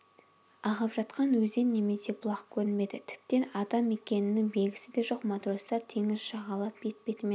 ағып жатқан өзен немесе бұлақ көрінбеді тіптен адам мекенінің белгісі де жоқ матростар теңіз жағалап бет-бетімен